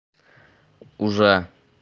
уже